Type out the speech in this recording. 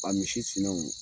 A misi sinenw